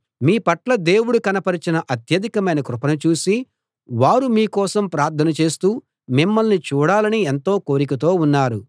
మీ పట్ల దేవుడు కనపరచిన అత్యధికమైన కృపను చూసి వారు మీ కోసం ప్రార్థన చేస్తూ మిమ్మల్ని చూడాలని ఎంతో కోరికతో ఉన్నారు